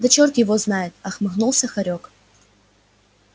да черт её знает отмахнулся хорёк